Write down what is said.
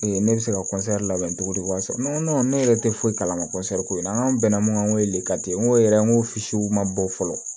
ne bɛ se ka labɛn cogo di wari sɔrɔ ne yɛrɛ tɛ foyi kalama ko in na n ko bɛnna mun kan lekari n ko yɛrɛ n ko ma bɔ fɔlɔ